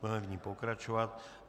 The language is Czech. Budeme v ní pokračovat.